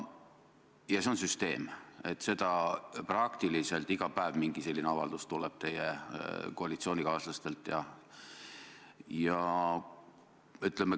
Ja see on süsteemne, praktiliselt iga päev tuleb teie koalitsioonikaaslastelt mingi selline avaldus.